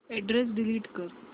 address delete कर